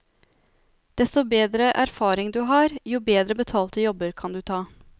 Desto bedre erfaring du har, jo bedre betalte jobber kan du ta.